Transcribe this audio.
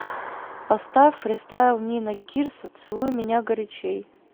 поставь фристайл нина кирсо целуй меня горячей